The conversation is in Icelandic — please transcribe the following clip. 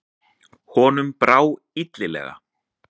Honum brá illilega.